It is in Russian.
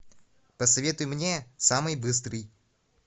посоветуй мне самый быстрый